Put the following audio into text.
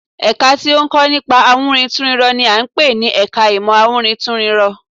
Ẹ̀ka tí ó ń kọ́ nípa ìwúrintúnrinrọ n i à ń pè ní ẹka ìmọ̀ awúrintúnrinrọ